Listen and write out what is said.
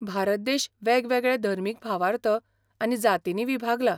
भारत देश वेगवेगळे धर्मीक भावार्थ आनी जातींनी विभागला.